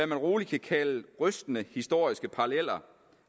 man roligt kan kalde rystende historiske paralleller